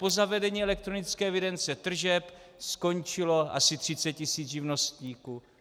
Po zavedení elektronické evidence tržeb skončilo asi 30 tisíc živnostníků.